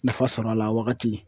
Nafa sɔrɔ a la wagati.